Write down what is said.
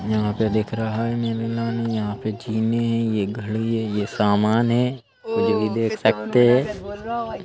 यहाँ पे दिख रहा है यहाँ पे जीने हैं ये घड़ी है ये सामान है कुछ भी देख सकते हैं।